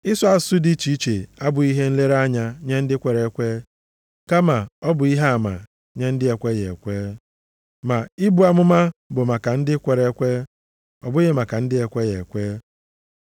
Ịsụ asụsụ dị iche iche abụghị ihe nlere anya nye ndị kwere ekwe, kama ọ bụ ihe ama nye ndị na-ekweghị ekwe. Ma ibu amụma bụ maka ndị kwere ekwe, ọ bụghị maka ndị na-ekweghị ekwe.